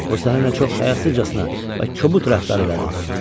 O sənə nə çox həyasızcasına və kobud rəftar elədi.